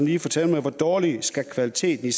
lige fortælle mig hvor dårlig kvaliteten